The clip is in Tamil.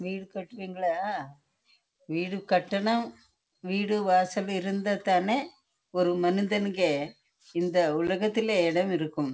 வீடு வாசல் இருந்த தான் ஒரு மனுஷனுக்கு நல்ல இருக்கும்